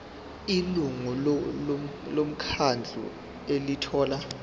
ilungu lomkhandlu elithola